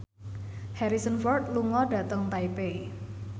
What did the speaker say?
Harrison Ford lunga dhateng Taipei